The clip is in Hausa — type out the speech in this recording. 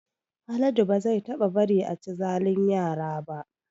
Haladu ba zai taɓa bari a chi zalin yara ba